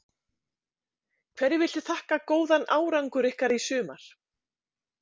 Hverju viltu þakka góðan árangur ykkar í sumar?